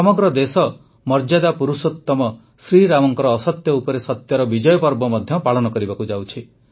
ସମଗ୍ର ଦେଶ ମର୍ଯ୍ୟାଦା ପୁରୁଷୋତମ ଶ୍ରୀରାମଙ୍କ ଅସତ୍ୟ ଉପରେ ସତ୍ୟର ବିଜୟ ପର୍ବ ମଧ୍ୟ ପାଳନ କରିବାକୁ ଯାଉଛି